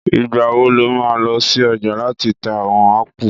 Ìgbà wo lo má lọ sí ọjà láti ta àwon ápù?